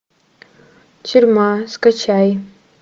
тюрьма скачай